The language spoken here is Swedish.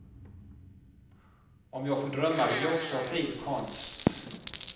Om jag får drömma vill jag också ha fin konst.